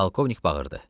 Polkovnik bağırdı.